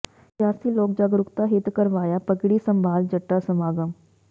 ਸਿਆਸੀ ਲੋਕ ਜਾਗਰੂਕਤਾ ਹਿੱਤ ਕਰਵਾਇਆ ਪੱਗੜੀ ਸੰਭਾਲ ਜੱਟਾ ਸਮਾਗਮ